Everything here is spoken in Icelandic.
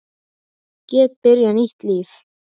Geti byrjað nýtt líf.